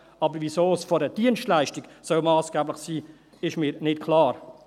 Aber weswegen es bei einer Dienstleistung massgeblich sein soll, ist mir nicht klar.